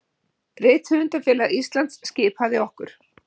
Rithöfundafélag Íslands skipaði okkur